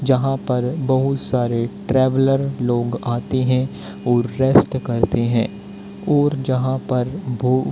जहां पर बहुत सारे ट्रैवलर लोग आते हैं और रेस्ट करते हैं और जहां पर भो--